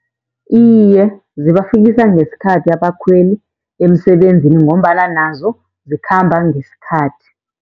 Iye, zibafikisa ngesikhathi abakhweli emsebenzini, ngombana nazo zikhamba ngesikhathi.